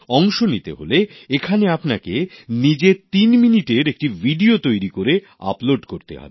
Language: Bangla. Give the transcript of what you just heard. অংশ নিতে হলে এখানে আপনাকে নিজের তিন মিনিটের একটি ভিডিও তৈরি করে আপলোড করতে হবে